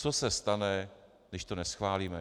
Co se stane, když to neschválíme?